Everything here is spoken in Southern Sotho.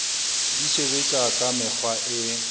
di sebetsa ka mekgwa e